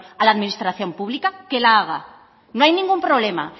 a la administración pública que la haga no hay ningún problema